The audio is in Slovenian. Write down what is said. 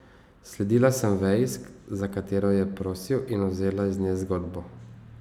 Sledila sem veji, za katero je prosil, in vzela z nje zgodbo.